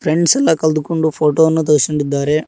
Friends ಎಲ್ಲಾ ಕಲ್ದುಕೊಂಡು photo ವನ್ನು ತೆಗ್ಸ್ಕೊಂಡಿದ್ದಾರೆ.